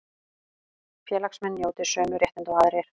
Félagsmenn njóti sömu réttinda og aðrir